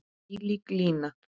Þvílík lína.